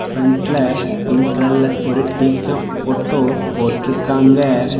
பிரண்ட்ல பிங்க் கலர்ல ஒரு டீ கப் போட்டோ போட்டு இருக்காங்க.